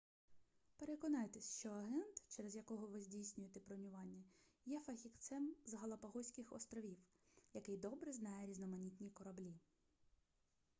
переконайтесь що агент через якого ви здійснюєте бронювання є фахівцем з галапагоських островів який добре знає різноманітні кораблі